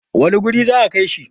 wane wuri za a Kai shi?